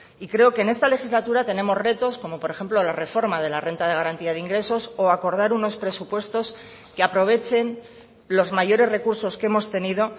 y creo que en esta legislatura tenemos retos como por ejemplo la reforma de la renta de garantía de ingresos o acordar unos presupuestos que aprovechen los mayores recursos que hemos tenido